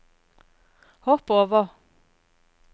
hopp over